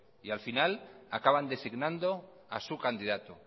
y al final acaban designando a su candidato